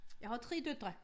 Jeg har 3 døtre